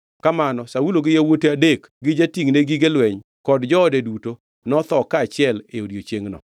Kamano Saulo gi yawuote adek gi jatingʼne gige lweny kod joode duto notho kaachiel e odiechiengʼno.